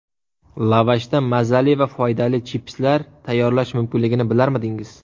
Lavashdan mazali va foydali chipslar tayyorlash mumkinligini bilarmidingiz?